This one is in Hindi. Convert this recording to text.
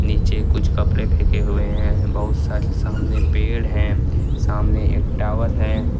नीचे कुछ कपड़े फेके हुए हैं बहुत सारे सामने पेड़ हैं सामने एक टावर है।